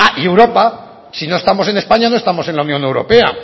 y europa si no estamos en españa no estamos en la unión europea